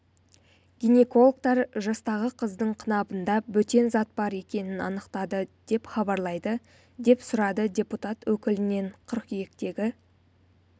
гинекологтар жастағы қыздың қынабында бөтен зат бар екенін анықтады деп хабарлайды деп сұрады депутат өкілінен қыркүйектегі